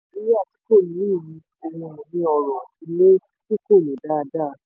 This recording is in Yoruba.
inu ile oro ti ko lo daada